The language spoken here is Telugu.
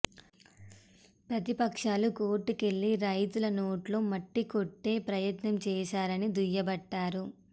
ప్రతిపక్షాలు కోర్టుకెళ్లి రైతుల నోట్లో మట్టి కొట్టే ప్రయత్నం చేశారని దుయ్యబట్టారు